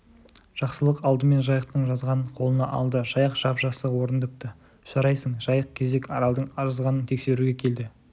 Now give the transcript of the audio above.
жақсылық алдымен жайықтың жазғанын қолына алды жайық жап-жақсы орындапты жарайсың жайық кезек аралдың жазғанын тексеруге келді